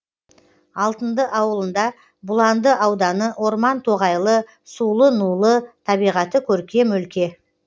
алтынды ауылында бұланды ауданы орман тоғайлы сулы нулы табиғаты көркем өлке